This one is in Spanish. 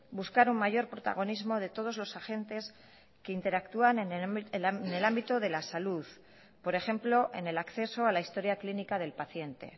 buscar un mayor protagonismo de todos los agentes que interactúan en el ámbito de la salud por ejemplo en el acceso a la historia clínica del paciente